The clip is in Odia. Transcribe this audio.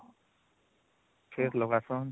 ଫିର ଲଗଛନ